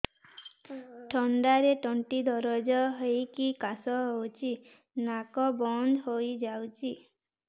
ଥଣ୍ଡାରେ ତଣ୍ଟି ଦରଜ ହେଇକି କାଶ ହଉଚି ନାକ ବନ୍ଦ ହୋଇଯାଉଛି